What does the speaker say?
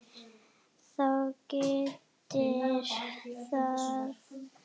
Þá gildir að